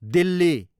Delhi